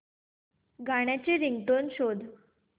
गाण्याची रिंगटोन शोध